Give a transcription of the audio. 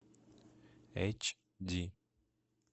эйч ди